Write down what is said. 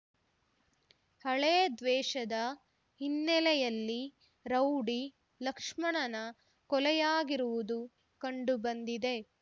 ಹಳೆದ್ವೇಷದ ಹಿನ್ನೆಲೆಯಲ್ಲಿ ರೌಡಿ ಲಕ್ಷ್ಮಣನ ಕೊಲೆಯಾಗಿರುವುದು ಕಂಡುಬಂದಿದೆ